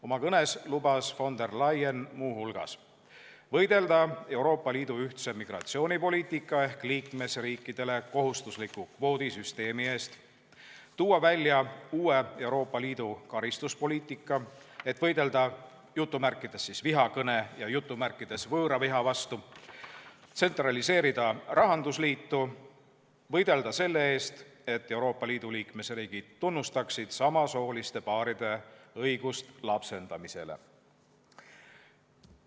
Oma kõnes lubas von der Leyen muu hulgas võidelda Euroopa Liidu ühtse migratsioonipoliitika ehk liikmesriikidele kohustusliku kvoodisüsteemi eest, tulla välja uue Euroopa Liidu karistuspoliitikaga, et võidelda "vihakõne" ja "võõraviha" vastu, tsentraliseerida rahandusliitu ja võidelda selle eest, et Euroopa Liidu liikmesriigid tunnustaksid samasooliste paaride õigust lapsendamisele.